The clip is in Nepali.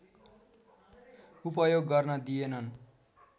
उपयोग गर्न दिएनन्